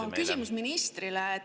Aga küsimus ministrile.